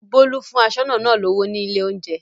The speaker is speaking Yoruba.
Bólú fún aṣọ́nà náà lówó ní ilé-oúnjẹ.